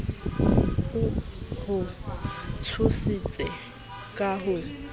o ho tshositse ka ho